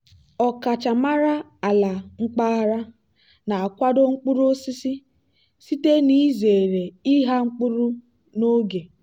ọkachamara ala mpaghara na-akwado mkpuru osisi site n'izere ịgha mkpụrụ n'oge.